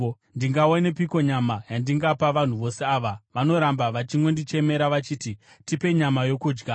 Ndingawanepiko nyama yandingapa vanhu vose ava? Vanoramba vachingondichemera vachiti, ‘Tipe nyama yokudya.’